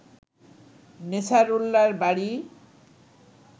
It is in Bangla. নেছারউল্লাহর বাড়ি